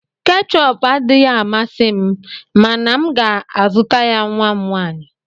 Keechup adịghị amasị m mana m ga-azụta ya nwa m nwanyị.